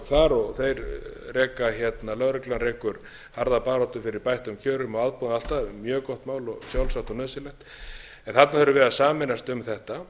þar lögreglan rekur harða baráttu fyrir bættum kjörum og aðbúnaði og allt það mjög gott mál og sjálfsagt og nauðsynlegt en þarna þurfum við að sameinast um þetta